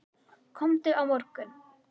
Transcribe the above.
Komdu á morgun.